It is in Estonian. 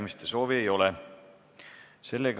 Kõnesoove ei ole.